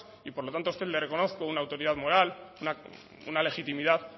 y por lo tanto a usted le reconozco una autoridad moral una legitimidad